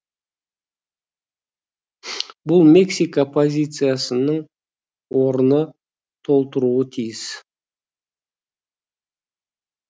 бұл мексика позициясының орнын толтыруы тиіс